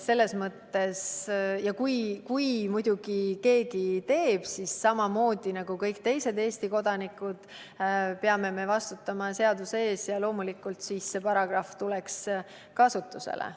Muidugi, kui keegi seda teeb, siis peaksime me samamoodi nagu kõik teised Eesti kodanikud vastutama seaduse ees ja loomulikult tuleks see paragrahv siis kasutusele.